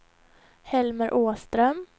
Helmer Åström